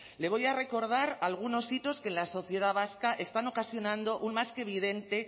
le voy a recordar algunos hitos que en la sociedad vasca están ocasionando un más que evidente